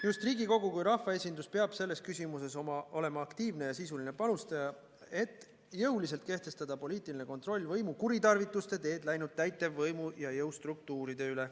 Just Riigikogu kui rahvaesindus peab selles küsimuses olema aktiivne ja sisuline panustaja, et jõuliselt kehtestada poliitiline kontroll võimu kuritarvituste teed läinud täitevvõimu ja jõustruktuuride üle.